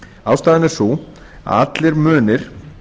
ástæðan er sú að allir munir